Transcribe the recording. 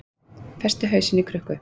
Festi hausinn í krukku